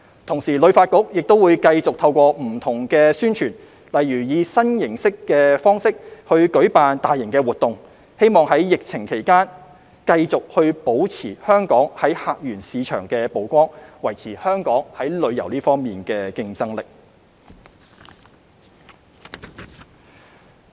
同時，旅發局亦會繼續透過不同的宣傳，例如以新形式舉辦大型活動，希望在疫情期間繼續保持香港在客源市場的曝光，維持香港在旅遊方面的競爭力。